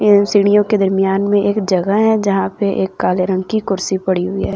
सीढ़ियों के दरमियान में एक जगह है जहां पे एक काले रंग की कुर्सी पड़ी हुई है।